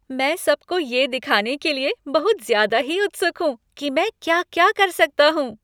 मैं सबको ये दिखाने के लिए बहुत ज़्यादा ही उत्सुक हूँ कि मैं क्या क्या कर सकता हूँ।